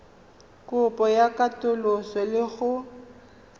kopo ya katoloso le go